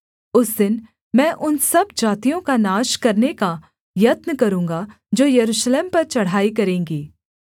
उस दिन मैं उन सब जातियों का नाश करने का यत्न करूँगा जो यरूशलेम पर चढ़ाई करेंगी